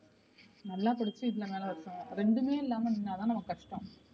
நல்லா படிச்சு இதுல மேலவரட்டும் ரெண்டுமே இல்லாம நின்னா தான் நமக்கு கஷ்டம்.